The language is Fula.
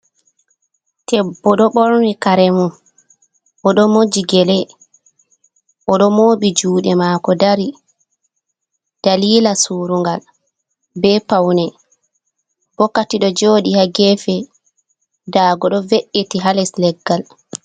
Debbo ɗo ɓorni kare mun oɗo moji gele oɗo